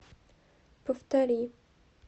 повтори